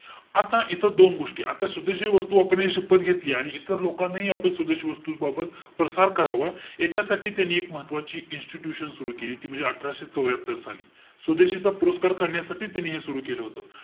आता इथं दोन गोष्टी. आता स्वदेशी वस्तू वापरण्याची शपथ घेतली. आणि इतर लोकांनाही आपण स्वदेशी वस्तू बाबत प्रसार करावा. याच्यासाठी त्यांनी एक महत्वाची institution सुरु केली. ती म्हणजे अठराशे चौर्यात्तर साली. स्वदेशीचा पुरस्कार करण्यासाठी त्यांनी हे सुरु केलं होतं.